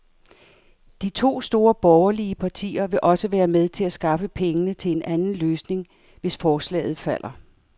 De to store borgerlige partier vil også være med til at skaffe pengene til en anden løsning, hvis forslaget falder.